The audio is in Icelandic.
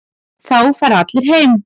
Þá fara allir heim.